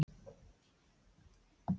Biddu mig þá afsökunnar, sagði hún snúðug.